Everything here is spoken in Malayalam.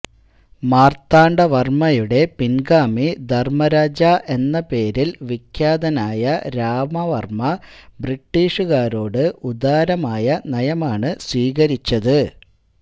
മാർത്താണ്ഡവർമയുടെ പിൻഗാമി ധർമരാജാ എന്ന പേരിൽ വിഖ്യാതനായ രാമവർമ ബ്രിട്ടീഷുകാരോട് ഉദാരമായ നയമാണ് സ്വീകരിച്ചത്